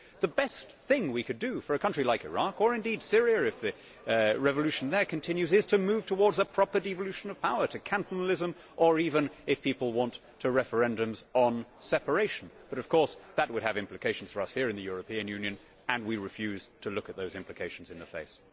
The best thing we could do for a country like Iraq or indeed Syria if the revolution there continues is to move towards a proper devolution of power, to cantonalism or even, if people want, to referendums on separation. But of course that would have implications for us here in the European Union and we refuse to look those implications in the face.